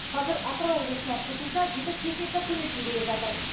қазір атырау облысынан қосымша жеті техника көмекке келе жатыр